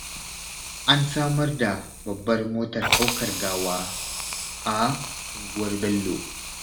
An samar da babbar motar ɗaukar gawa a unguwar Bello